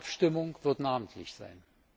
Die Abstimmung wird namentlich sein.